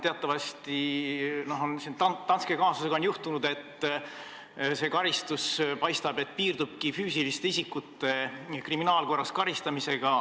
Teatavasti Danske kaasuse puhul paistab, et karistus piirdubki füüsiliste isikute kriminaalkorras karistamisega.